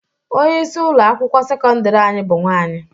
Onyeisi ụlọ akwụkwọ sekọndịrị anyị bụ nwaanyị.